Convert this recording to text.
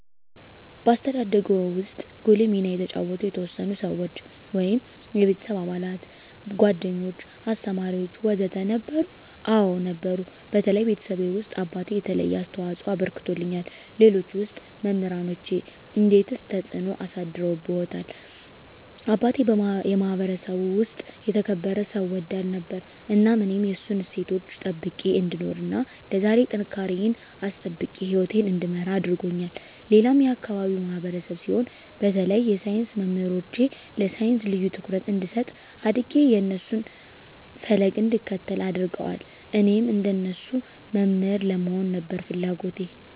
በአስተዳደግዎ ውስጥ ጉልህ ሚና የተጫወቱ የተወሰኑ ሰዎች (የቤተሰብ አባላት፣ ጓደኞች፣ አስተማሪዎች ወዘተ) ነበሩ? አዎ ነበሩ በተለይ ቤተሰቤ ውስጥ አባቴ የተለየ አስተዋፅኦ አበርክቶልኛል ሌሎች ውስጥ መምራኖቼ እንዴትስ ተጽዕኖ አሳድረውብዎታል አባቴ የማህበረሰቡ ውስጥ የተከበረ ሰው ወዳድ ነበር እናም እኔም የእሱን እሴቶች ጠብቄ እንድኖር እና ለዛሬ ጥንካሬየን አስጠብቄ ህይወቴን እንድመራ አድርጎኛል ሌላም የአካባቢው ማህበረሰብ ሲሆን በተለይ የሳይንስ መምህሮቼ ለሳይንስ ልዬ ትኩረት እንድሰጥ አድጌ የእነሱን ፈለግ እንድከተል አድርገዋል እኔም እንደነሱ መምህር ለመሆን ነበር ፍለጎቴ